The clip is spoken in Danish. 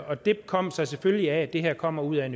og det kom sig selvfølgelig af at det her kommer ud af